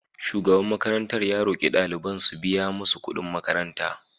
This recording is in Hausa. Shugaban makarantar ya roki daliban su biya musu kudin makaranta.